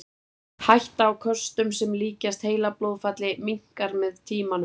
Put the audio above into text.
Hætta á köstum sem líkjast heilablóðfalli minnkar með tímanum.